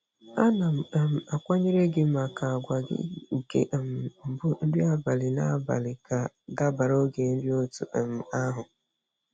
A na m um akwanyere gi maka àgwà gị nke um mbụ nri abalị na-agbalị ka dabara oge nri otú um ahụ.